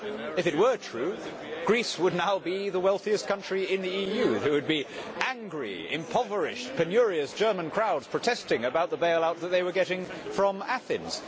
If it were true, Greece would now be the wealthiest country in the EU, and there would be angry, impoverished, penurious German crowds protesting about the bail out that they were getting from Athens.